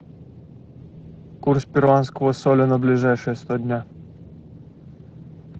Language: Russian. курс перуанского соля на ближайшие сто дня